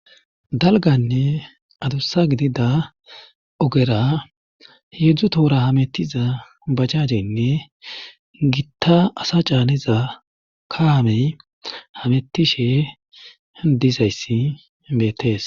Dalganne adussa gidida ogera heedzdzu toora hamettiza bajajeynne gitta asa caaniza kaamey hamettishe dizayssi beettees.